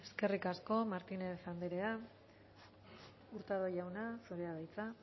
eskerrik asko martínez andrea hurtado jauna zurea da hitza